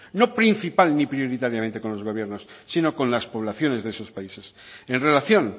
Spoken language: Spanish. no principal ni prioritariamente con los gobiernos sino con las poblaciones de esos países en relación